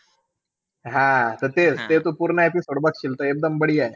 हां त तेच-तेच तू पूर्ण episode बघशील तर एकदम आहे.